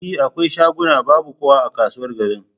E, akwai shaguna babu kowa a kasuwar garin.